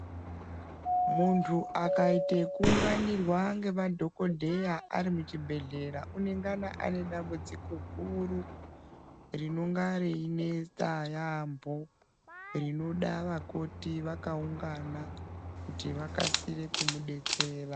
Muntu akaita ekuunganirwa ngemadhokoteya arimu muchibhohleya anengana ane dambudziko guru rinonga reinetsa yambo rinoda vamakoti vakaungana kuti vakasire kumudetsera.